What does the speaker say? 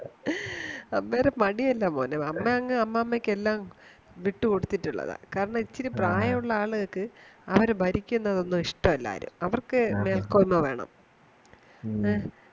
അമ്മേടെ മടിയല്ല മോനെ അമ്മയങ്ങു അമ്മാമയ്ക് എല്ലാം വിട്ടുകൊടുത്തത്തിട്ടുള്ളതാ കാരണം ഇച്ചിരി പ്രായം ഉള്ള ആളുകൾക്ക് അവരു ഭരിക്കുന്നതൊന്നും ഇഷ്ടല്ല ആരും അവർക്കു മേൽക്കോയ്മ വേണം മ്മ